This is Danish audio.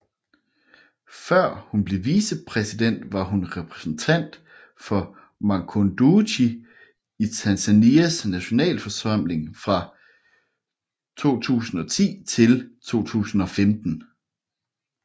Før hun blev vicepræsident var hun repræsentant for Makunduchi i Tanzanias nationalforsamling fra 2010 til 2015